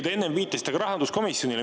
Te viitasite enne ka rahanduskomisjonile.